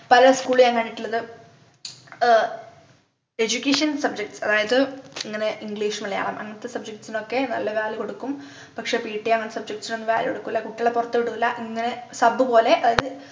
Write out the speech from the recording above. പല school ലു ഞാൻ കണ്ടിട്ടുള്ളത് ആഹ് education subjects അതായത് ഇങ്ങനെ english മലയാളം അങ്ങനത്തെ subjects ഒക്കെ നല്ല value കൊടുക്കും പക്ഷേ pt അങ്ങനത്തെ subjects നൊന്നും value കൊടുക്കൂല കുട്ടികളെ പുറത്തുവിടൂല്ല ഇങ്ങനെ sub പോലെ അവര്